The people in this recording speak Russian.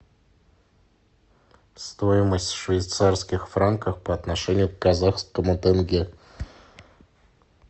стоимость швейцарских франков по отношению к казахскому тенге